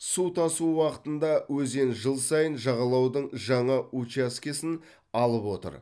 су тасу уақытында өзен жыл сайын жағалаудың жаңа учаскесін алып отыр